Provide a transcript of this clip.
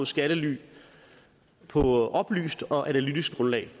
skattely på oplyst og analytisk grundlag